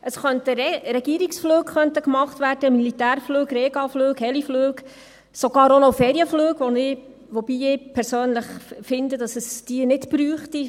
Es könnten Regierungsflüge gemacht werden, Militärflüge, Rega-Flüge, Helikopter-Flüge, sogar auch noch Ferienflüge, wobei ich persönlich finde, dass es diese nicht braucht.